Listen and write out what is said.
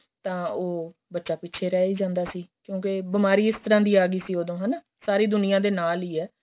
ਤਾਂ ਉਹ ਬੱਚਾ ਪਿਛੇ ਰਹਿ ਹੀ ਜਾਂਦਾ ਸੀ ਕਿਉਂਕਿ ਬੀਮਾਰੀ ਇਸ ਤਰ੍ਹਾਂ ਦੀ ਆਂ ਗਈ ਸੀ ਉਹਦੋ ਸਾਰੀ ਦੁਨੀਆਂ ਦੇ ਨਾਲ ਹੀ ਏ